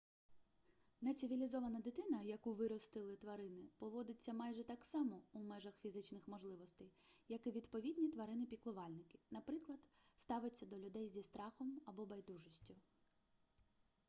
нецивілізована дитина яку виростили тварини поводиться майже так само у межах фізичних можливостей як і відповідні тварини-піклувальники наприклад ставиться до людей зі страхом або байдужістю